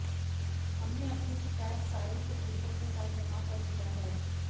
हमने अपनी शिकायत सारे सुबूतों के साथ जमा कर दिया है